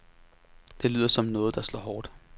Det lyder som noget, der slår hårdt.